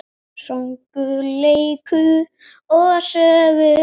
Söngur, leikur og sögur.